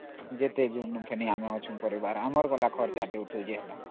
ଯେତେହେଲେ ଆମର ପରିବାର ଆମେ ଖର୍ଚ୍ଚ କରିବୁ ନ